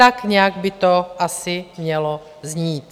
Tak nějak by to asi mělo znít.